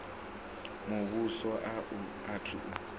muvhuso a u athu u